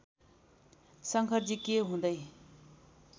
शंकरजी के हुँदै